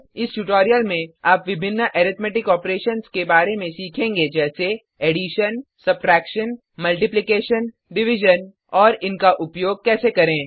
इस ट्यूटोरियल में आप विभिन्न अरिथमेटिक ऑपरेशन के बारे में सीखेंगे जैसे एडिशन जोड सबट्रैक्शन घटाव मल्टीप्लिकेशन गुणा डिविजन भाग और इनका उपयोग कैसे करें